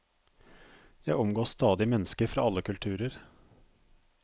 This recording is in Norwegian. Jeg omgås stadig mennesker fra alle kulturer.